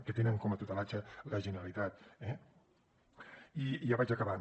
que en té la tutela la generalitat eh i ja vaig acabant